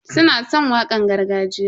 Suna san wakan gargajiya.